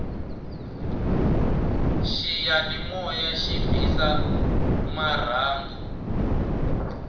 xiyanimoya xi bisa ta marhandu